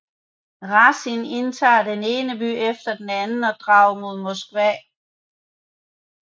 Razin indtager den ene by efter den anden og drager mod Moskva